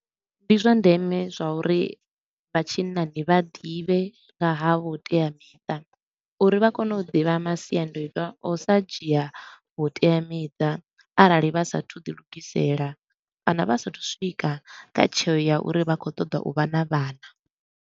Ndi zwa ndeme zwa uri vha tshinnani vha ḓivhe nga ha vhuteamiṱa uri vha kone u ḓivha masiandoitwa a u sa dzhia vhuteamiṱa arali vha sa a thu u ḓi lugisela kana vha sa a thu u swika kha tsheo ya uri vha khou ṱoḓa u vha na vhana.